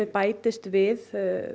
bætist við